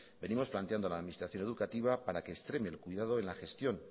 venimos planteando a la administración educativa para que extreme el cuidado en la gestión